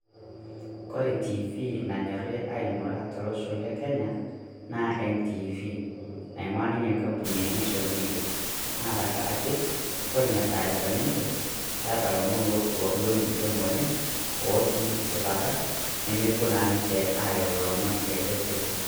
Kore tv naanyori aing'ura tolosho le Kenya naa NTV naing'ua ninye nkapuuni e nation media, naa tang'araki kore nenia taarifani enchee keeta lomoon lo ng'utoon oleng otii sipaata nemepoo naa ninchee ayau lomoon letesipuu.